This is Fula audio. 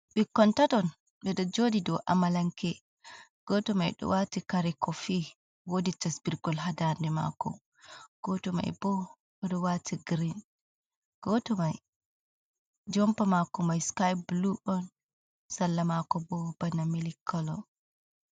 Ɓikkon taton. Ɓeɗo joɗi dou amalanke. Gooto mai ɗo waati kare kofi, woodi tasbirgol haa ndaade maako. Gooto mai bo oɗo waati girin. Gooto mai jompa maako mai skai bulu on, salla maako bo bana mili colo.